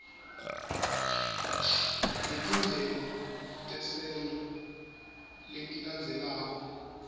letindlela tesento letilandzelako